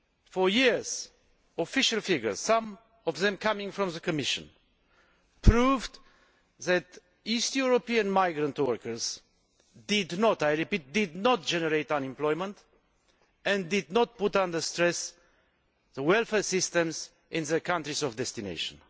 For years, official figures some of them from the Commission proved that east European migrant workers did not generate unemployment and did not put under stress the welfare systems in their countries of destination.